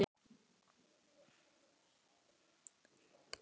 Það verða allar dömur glaðar að fá svona vorboð.